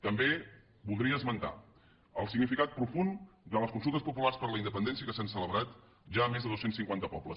també voldria esmentar el significat profund de les consultes populars per la independència que s’han celebrat ja a més de dos cents i cinquanta pobles